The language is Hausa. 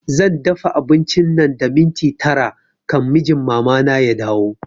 Zan dafa abinci nan da minti tara kan mijin mama na ya dawo